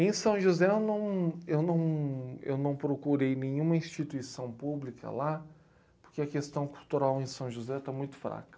Em São José eu não, eu não, eu não procurei nenhuma instituição pública lá, porque a questão cultural em São José está muito fraca.